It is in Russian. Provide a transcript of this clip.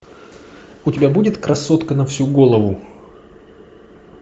у тебя будет красотка на всю голову